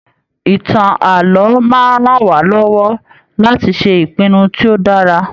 ìtàn ààlọ́ máa n rán wa lọwọ láti ṣe ìpinnu tí o dára.